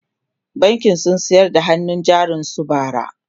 bankin sun sayar da hannun jarin su bara